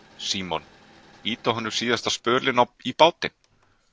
Símon: Ýta honum síðasta spölinn í bátinn?